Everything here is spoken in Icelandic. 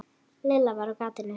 Lilla var á gatinu.